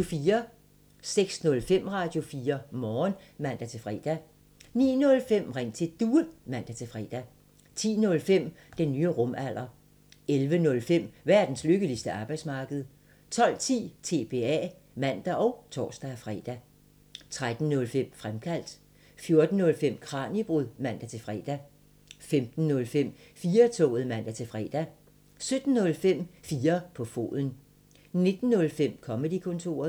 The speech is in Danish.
06:05: Radio4 Morgen (man-fre) 09:05: Ring til Due (man-fre) 10:05: Den nye rumalder 11:05: Verdens lykkeligste arbejdsmarked 12:10: TBA (man og tor-fre) 13:05: Fremkaldt 14:05: Kraniebrud (man-fre) 15:05: 4-toget (man-fre) 17:05: 4 på foden 19:05: Comedy-kontoret